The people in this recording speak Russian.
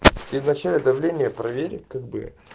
ты вначале давление проверь как бы